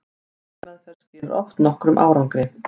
lyfjameðferð skilar oft nokkrum árangri